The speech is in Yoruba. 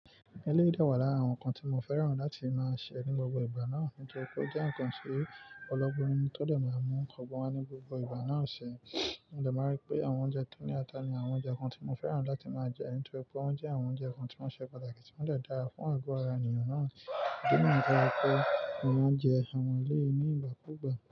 Eléyìí dẹ́wàá lára àwọn nǹkan tí mo fẹ́ràn láti máa ṣe ní gbogbo ìgbà náà nítorí pé ó jẹ́ nǹkan tí ọlọ́gbọ́n mi tó dẹ̀ máa mú ọgbọ́n wá ní gbogbo ìgbà náà ṣe. N jẹ máa rí pé àwọn oúnjẹ tí ó ní ata ni àwọn oúnjẹ kan tí mo fẹ́ràn láti máa jẹ nítorí pé wọ́n jẹ́ àwọn oúnjẹ kan tí wọ́n ṣe pàtàkì tí wọ́n dẹ̀ dára fún àgọ́ ara ènìyàn náà. Idi niyen to je pé mò máa n jẹ àwọn eléyìí ní ìgbà kúùgbà.